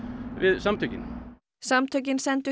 samtökin samtökin sendu